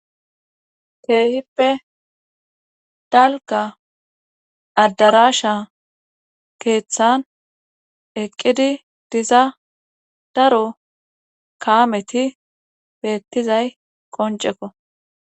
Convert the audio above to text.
Kee'hippe dalgga addarashsha keeththan eqqidi diza daro kaameti beettizay qoncekko